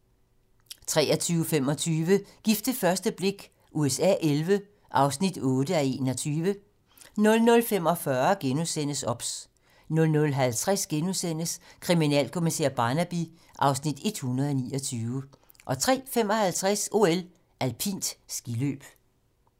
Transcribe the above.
23:25: Gift ved første blik USA XI (8:21) 00:45: OBS * 00:50: Kriminalkommissær Barnaby (Afs. 129)* 03:55: OL: Alpint skiløb